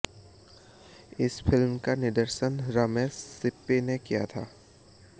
इस फिल्म का निर्देशन रमेश सिप्पी ने किया था